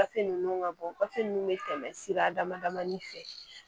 Gafe ninnu ka bɔ gafe ninnu bɛ tɛmɛ sira dama damanin fɛ